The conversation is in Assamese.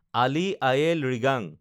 আলি আয়ে লৃগাং